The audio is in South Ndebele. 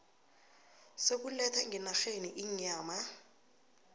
sokuletha ngenarheni inyama